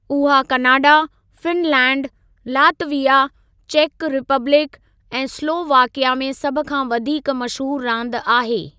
उहा Canada, Finland, Latvia, चेकु Republic ऐं स्लोवाकिया में सभ खां वधीक मशहूरु रांदि आहे।